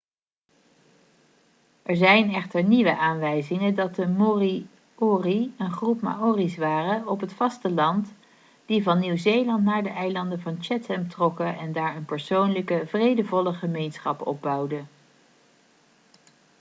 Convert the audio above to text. er zijn echter nieuwe aanwijzingen dat de moriori een groep maori's waren op het vasteland die van nieuw-zeeland naar de eilanden van chatham trokken en daar een persoonlijke vredevolle gemeenschap opbouwden